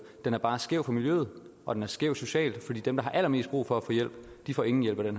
den er bare skæv for miljøet og den er skæv socialt fordi dem der har allermest brug for at få hjælp får ingen hjælp af